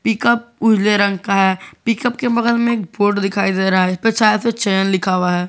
Pickup उजले रंग का है पिकअप के बगल में एक बोर्ड दिखाई दे रहा है जिस से चयन लिखा हुआ है।